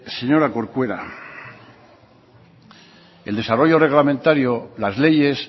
señora corcuera el desarrollo reglamentario las leyes